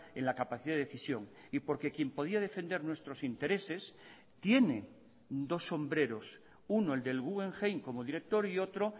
en la capacidad de decisión y porque quién podía defender nuestros intereses tiene dos sombreros uno el del guggenheim como director y otro